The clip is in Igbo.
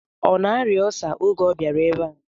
Ọ na-arịa ọlsa oge ọ bịara ebe a?